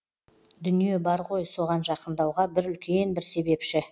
дүние бар ғой соған жақындауға бір үлкен бір себепші